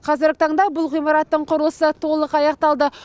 қазіргі таңда бұл ғимараттың құрылысы толық аяқталды